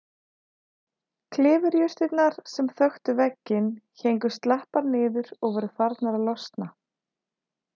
Klifurjurtirnar sem þöktu vegginn héngu slappar niður og voru farnar að losna.